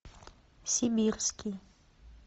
сибирский